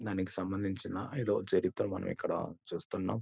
దానికి సంబందించిన ఎదో చరిత్ర మన మిక్కడ చూస్తున్నాం.